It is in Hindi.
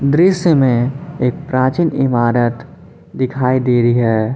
दृश्य में एक प्राचीन इमारत दिखाई दे रही है।